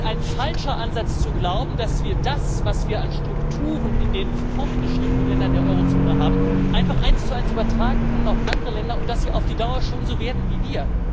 Es ist ein falscher Ansatz zu glauben, dass wir das, was wir an Strukturen in den fortgeschrittenen Ländern der Eurozone haben, einfach eins zu eins auf andere Länder übertragen können und dass sie auf die Dauer schon so werden wie wir.